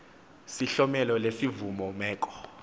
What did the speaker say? sihlomelo lesivumo meko